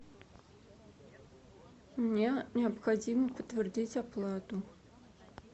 мне необходимо подтвердить оплату